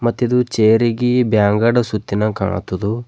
ಮತ್ತ್ ಇದು ಚೇರಿ ಗಿ ಬ್ಯಾಂಗಡ ಸುತ್ತಿನಾಂಗ್ ಕಾಣತ್ತದು.